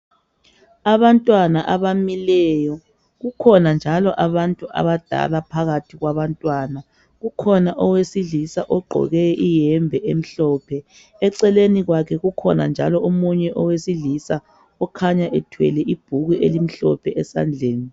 Abantwana abamileyo kukhona njalo abantu abadala phakathi kwabantwana kukhona owesilisa ogqoke iyembe emhlophe eceleni kwakhe kukhona njalo omunye owesilisa okhanya ethwele ibhuku elimhlophe esandleni.